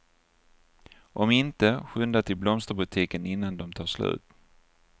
Om inte, skynda till blomsterbutiken innan de tar slut.